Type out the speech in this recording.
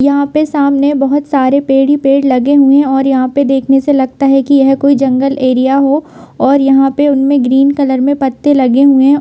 यहाँ पे सामने बहुत सारे पेड़ ही पेड़ लगे हुए और यहाँ पे देखने से लगता है कि यह कोई जंगल एरिया हो और यहां पे उनमे ग्रीन कलर में पत्ते लगे हुए है।